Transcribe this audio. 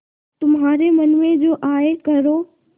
तुम्हारे मन में जो आये करो